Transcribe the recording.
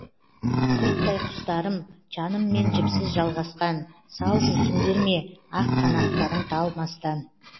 құйттай құстарым жаныммен жіпсіз жалғасқан сау жүрсіңдер ме ақ қанаттарың талмастан